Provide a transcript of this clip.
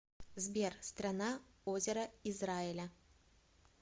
сбер страна озера израиля